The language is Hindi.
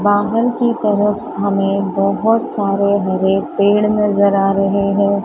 बाहर की तरफ हमें बहुत सारे हरे पेड़ नजर आ रहे हैं।